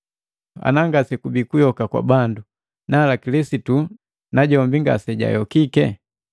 Ana ngasekubii kuyoka kwa bandu nala Kilisitu najombi ngasejayokiki,